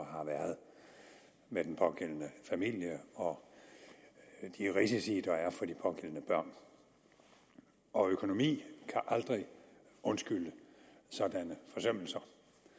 har været med den pågældende familie og de risici der er for de pågældende børn og økonomi kan aldrig undskylde sådanne forsømmelser